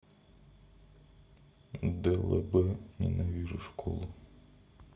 длб ненавижу школу